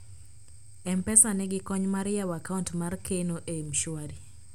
mpesa nigi kony mar yawo account mar keno e mshwari